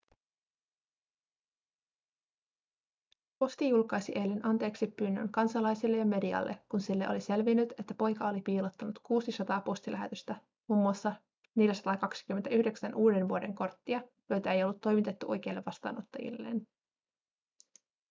posti julkaisi eilen anteeksipyynnön kansalaisille ja medialle kun sille oli selvinnyt että poika oli piilottanut 600 postilähetystä mm 429 uudenvuodenkorttia joita ei ollut toimitettu oikeille vastaanottajilleen